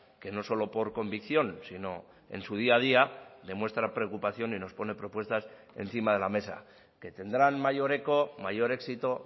que no solo por convicción sino en su día a día demuestra preocupación y nos pone propuestas encima de la mesa que tendrán mayor eco mayor éxito o